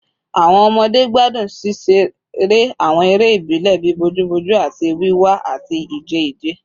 Awọn ọmọde gbadun ṣiṣere awọn ere ibile bii bojuboju ati wiwa ati ije ije